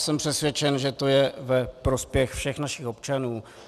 Jsem přesvědčen, že to je ve prospěch všech našich občanů.